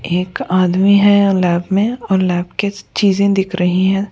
एक आदमी है लैब में और लैब के चीजें दिख रही हैं।